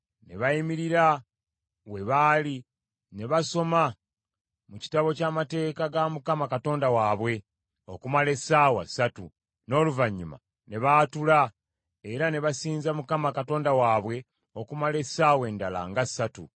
Ne bayimirira we baali ne basoma mu Kitabo ky’Amateeka ga Mukama Katonda waabwe, okumala essaawa ssatu, n’oluvannyuma ne baatula era ne basinza Mukama Katonda waabwe okumala essaawa endala nga ssatu.